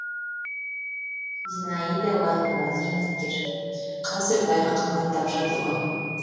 зинаида лайкова зейнеткер қазір бәрі қымбаттап жатыр ғой